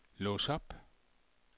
lås op